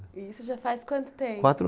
E isso já faz quanto tempo? Quatro